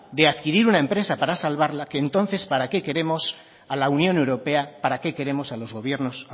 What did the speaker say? de adquirir una empresa para salvarla que entonces para qué queremos a la unión europea para qué queremos a los gobiernos